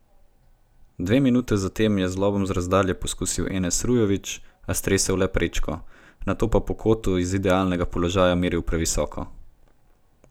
Dve minuti zatem je z lobom z razdalje poskusil Enes Rujović, a stresel le prečko, nato pa po kotu iz idealnega položaja meril previsoko.